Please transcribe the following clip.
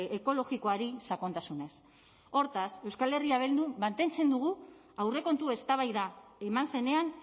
ekologikoari sakontasunez hortaz euskal herria bildun mantentzen dugu aurrekontu eztabaida eman zenean